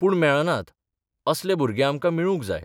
पूण मेळनात असले भुरगे आमकां मेळूक जाय.